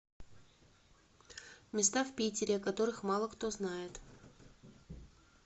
места в питере о которых мало кто знает